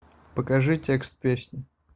покажи текст песни